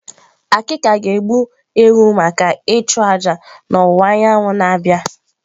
Akika ga-egbu ewu maka ịchụ aja n'ọwụwa anyanwụ na-abịa.